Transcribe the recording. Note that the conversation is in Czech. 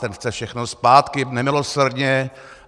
Ten chce všechno zpátky nemilosrdně.